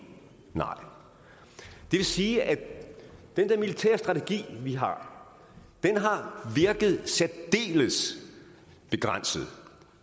det vil sige at den der militære strategi vi har har virket særdeles begrænset